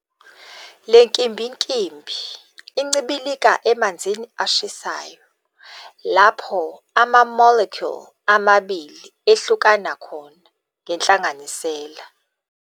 Le nkimbinkimbi incibilika emanzini ashisayo, lapho ama-molecule amabili ehlukana khona ngenhlanganisela.